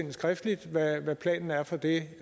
skriftligt hvad planen er for det